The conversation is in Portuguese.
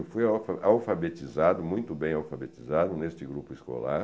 Eu fui alfa alfabetizado, muito bem alfabetizado, neste grupo escolar.